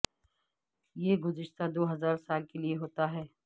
یہ گزشتہ دو ہزار سال کے لئے ہوتا ہے